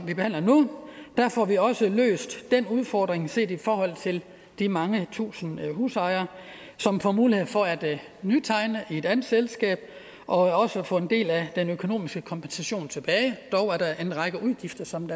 vi behandler nu får vi også løst den udfordring set i forhold til de mange tusinde husejere som får mulighed for at nytegne i et andet selskab og også få en del af den økonomiske kompensation tilbage dog er der en række udgifter som